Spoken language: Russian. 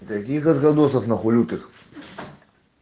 вегас градусов нахуй лютых